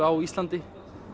á Íslandi